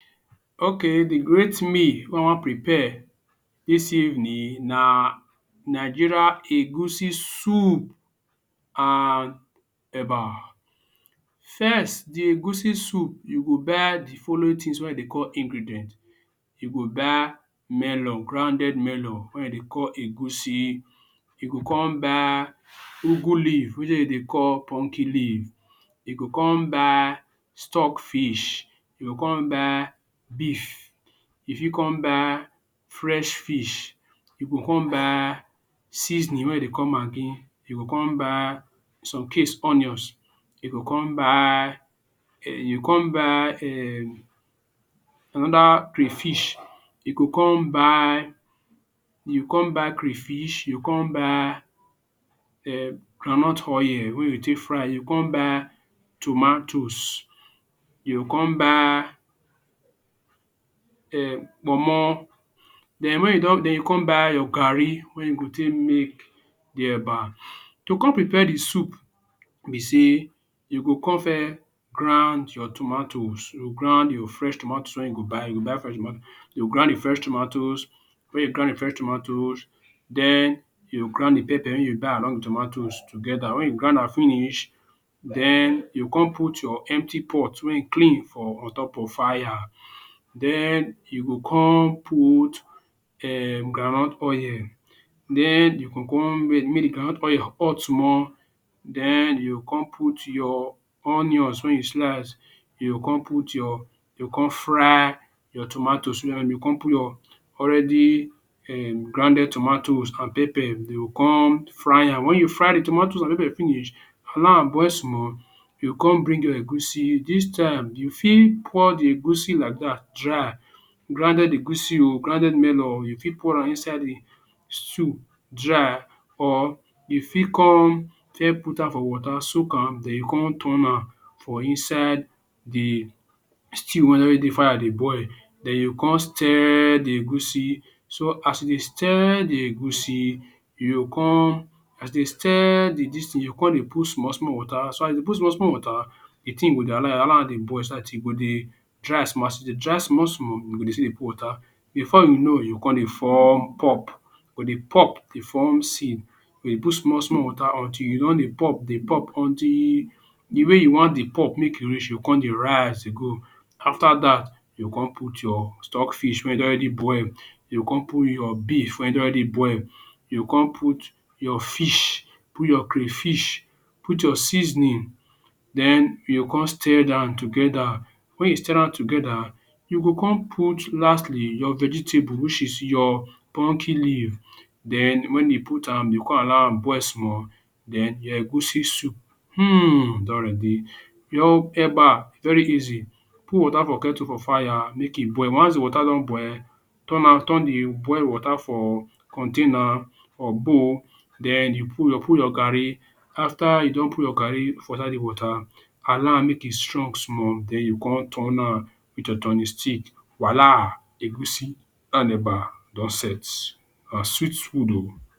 Okay de great meal wey we wan prepare dis evening na Nigeria egusi soup and eba first de egusi soup you go buy de following things wey dey call ingredient. you go buy melon grounded melon wey dem dey call egusi. you go come buy ugwu leaf wetin dem, dey call pumpkin leaf. you go com buy stock fish, you go com buy beef, you fit come buy fresh fish you go come buy seasoning wey we dey call maggi, you go come buy in some case onions you go come buy. you go come buy um another crayfish. you go come buy crayish, you go come buy um groundnut oil wey you go take fry you go come buy tomatoes. you go come buy um kpomo, den when you don you go come buy your garri, take make de eba to come prepare de soup be sey you go come first ground your tomatoes you go ground your fresh tomatoes when you go buy you go ground de fresh tomatoes when you ground de fresh tomatoes den you go ground de pepper wey you buy along de tomatoes together den when you ground am finish den you go put your empty pot wey clean for on top of fire den you go come put um groundnut oil den you go come make groundnut oil hot small den you go come put your onions when you slice you go come put your you go come fry your tomatoes well you go come put your already um grounded tomatoes and pepper you go come fry am when you fry de tomatoes and pepper finish allow am boil small you go come bring your egusi dis time you fit pour de egusi like dat dry grounded egusi o grounded melon oo you fit pour am inside de soup dry or you fit com fes put am for wata soak am den you come turn am for inside yeh stew wey dey fire dey boil den you come stir de egusi so as you dey stir de egusi you go come stir de dis tin you go come dey put small wata so as you dey put small small wata de tin go dey allow am dey boil de tin go dey dry small small as e dey dry small small but you still dey put wata before you know you go come dey form pop but de pop dey form seed you dey put small small wata until e don dey pop dey pop until de way you want de pop make e reach you go come dey rise e go after dat you go out your stock fish wey you don already boil you go come put your beef wey you don already boil you go come put your fish put your Cray fish out your seasoning den you go come stir am together when you stir am together you go come put lastly your vegetable which is your pumpkin leaf den when you put am you go come allow am boil small den your egusi soup um don ready your eba very easy out wata for kettle for fire make e boil once de wata don boil turn am turn de boil wata for container or bowl den you put your garri after you don put your for inside de wata allow am make e strong small den you come turn am with your turning stick wella egusi and eba don set na sweet food oh.